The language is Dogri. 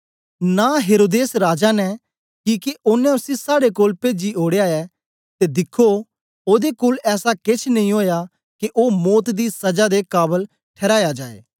नां हेरोदेस राजा ने किके ओनें उसी साड़े कोल पेजी ओड़या ऐ ते दिखो ओदे कोल ऐसा केछ नेई ओया के ओ मौत दी सजा दे काबल ठहराए जाए